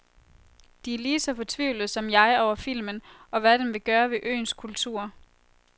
De er lige så fortvivlet som jeg over filmen, og hvad den vil gøre ved øens kultur.